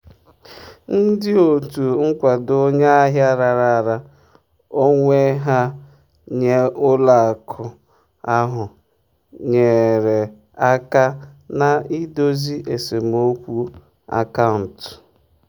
ndị otu nkwado onye ahịa raara onwe ha nye ụlọ akụ ahụ nyeere aka na-idozi esemokwu akaụntụ.